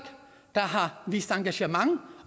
der har vist engagement